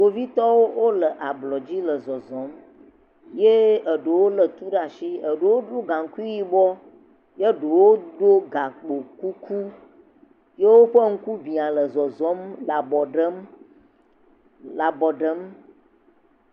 Kpovitɔwo wole ablɔdzi le zɔzɔ̃m ye eɖewo lé tu ɖe asi, eɖewo ɖo gaŋkui yibɔ ye ɖewo do gakpo kuku yewoƒe ŋku bia le zɔzɔ̃m le abɔ ɖem le abɔ ɖem.